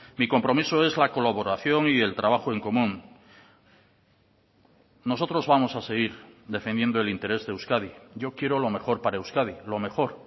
mi compromiso es la colaboración y el trabajo en común nosotros vamos a seguir defendiendo el interés de euskadi yo quiero lo mejor para euskadi lo mejor